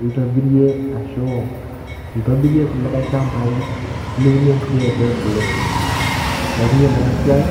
nintobirie ashu intobirie irkulikay shambai liunie inkulie aitubulu neeku yiolo ena siai